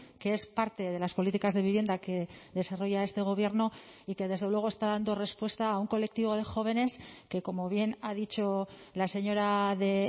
que es parte de las políticas de vivienda que desarrolla este gobierno y que desde luego está dando respuesta a un colectivo de jóvenes que como bien ha dicho la señora de